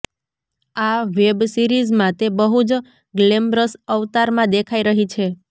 આ વેબ સીરિઝમાં તે બહુ જ ગ્લેમરસ અવતારમાં દેખાઈ રહી છે